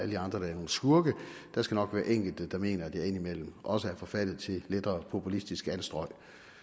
de andre der er nogle skurke der skal nok være enkelte der mener at jeg indimellem også er forfaldet til lettere populistiske anstrøg